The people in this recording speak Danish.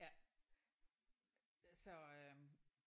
Ja så øh